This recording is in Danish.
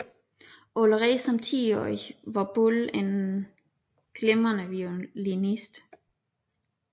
Allerede som tiårig var Bull en glimrende violinist